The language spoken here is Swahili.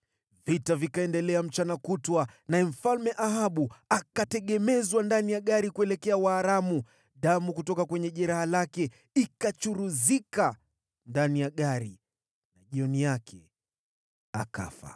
Vita vikaendelea mchana kutwa, naye mfalme wa Israeli akajitegemeza ndani ya gari lake kuwaelekea Waaramu hadi jioni. Basi jioni yake akafa.